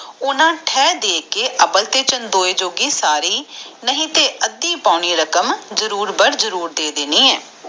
ਓਹਨਾ ਥੇ ਦੇ ਕੇ ਅਬਲ ਤੇ ਚੰਦੋਏ ਜੋਗਿ ਆਦਿ ਪੋਣੀ ਰਕਮ ਜਰੂਰ ਬਣ ਜਰੂਰ ਦੇ ਦੇਣੀ ਆ